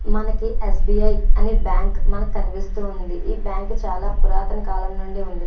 మనకి S B I అని bank కనిపిస్తుంది ఈ బ్యాంక్ చాల పురాతన కలం నుండి ఉంది.